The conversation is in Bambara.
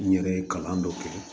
N yɛrɛ ye kalan dɔ kɛ